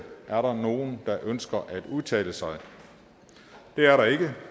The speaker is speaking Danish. er der nogen der ønsker at udtale sig det er der ikke